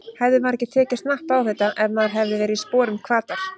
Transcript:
Hefði maður ekki tekið snappið á þetta ef maður hefði verið í sporum Hvatar?